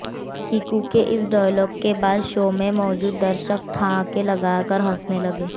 किकू के इस डायलॉग के बाद शो में मौजूद दर्शक ठहाके लगाकर हंसने लगे